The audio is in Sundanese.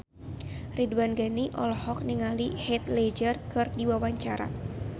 Ridwan Ghani olohok ningali Heath Ledger keur diwawancara